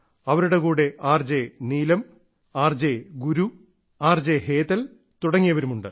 അവരുടെ കൂടെ R J Neelam R J Guru R J Hetal തുടങ്ങിയവരും ഉണ്ട്